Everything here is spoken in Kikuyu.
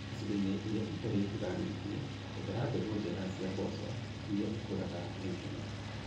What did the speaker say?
Icigo-inĩ irĩa itarĩ mbura nyingĩ, hũthĩra mbegũ njega cia mboco irĩa ikũraga na ihenya.